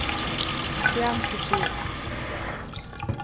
Fjern kursiv